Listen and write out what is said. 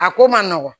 A ko man nɔgɔn